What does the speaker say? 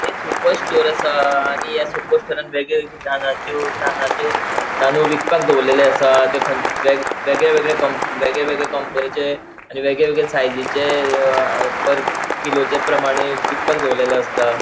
ये super store असा आणि या सुपर स्टोरान वेगळे वेगळे तांदळाच्यो तांदळाचे तानूळ विकपाक दोवोरलेले आसता थे वेगळे वेगळे वेगळे वेगळे कंपनीचे आणि वेगळे वेगळे साईजेचे पर किलोचे प्रमाणे विकपाक दोरलेले आसता.